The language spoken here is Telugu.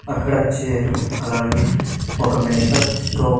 అక్కడ చేరువు అలాగే ఒక మెడికల్ స్టో--